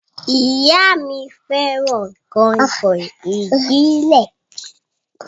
Ìyá mí fẹràn kàìnkàìn ìbílẹ̀.